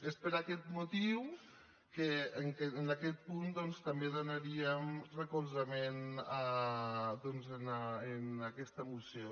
és per aquest motiu que en aquest punt també donaríem recolzament a aquesta moció